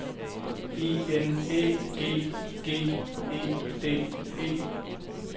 E N Æ G G E D E